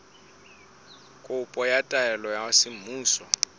kopo ya taelo ya semmuso